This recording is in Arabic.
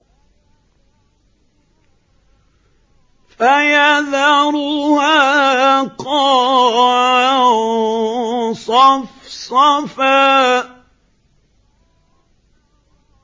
فَيَذَرُهَا قَاعًا صَفْصَفًا